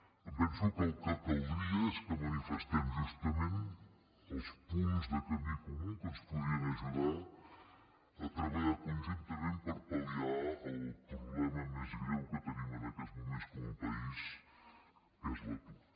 em penso que el que caldria és que manifestem justament els punts de camí comú que ens podrien ajudar a treballar conjuntament per pal·liar el problema més greu que tenim en aquests moments com a país que és l’atur